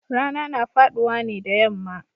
Rana na faduwa ne da yamma